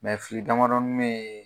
fili damadɔnin bɛ ye.